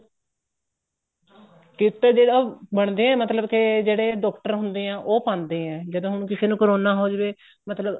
kit ਜਿਹੜਾ ਉਹ ਬਣਦੇ ਏ ਮਤਲਬ ਕੇ ਜਿਹੜੇ doctor ਹੁੰਦੇ ਏ ਉਹ ਪਾਂਦੇ ਏ ਜਦੋਂ ਹੁਣ ਕਿਸੇ ਨੂੰ ਕਰੋਨਾ ਹੋ ਜਾਵੇ ਮਤਲਬ